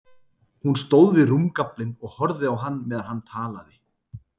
Hún stóð við rúmgaflinn og horfði á hann meðan hann talaði.